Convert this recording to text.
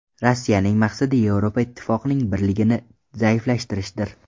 Rossiyaning maqsadi Yevropa Ittifoqining birligini zaiflashtirishdir.